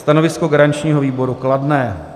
Stanovisko garančního výboru: kladné.